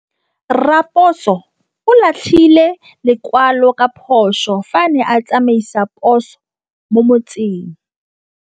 Raposo o latlhie lekwalô ka phosô fa a ne a tsamaisa poso mo motseng.